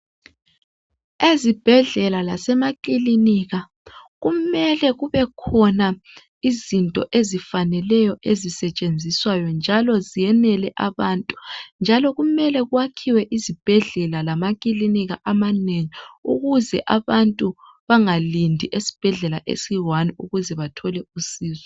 Ezibhedlela lasemakilinika kumele kube khona izinto ezifaneleyo ezisetshenziswayo njalo ziyenele abantu njalo kumele kwakhiwe izibhedlela lamakilinika amanengi ukuze abantu bangalindi esibhedlela esiyi one ukuze bathole usizo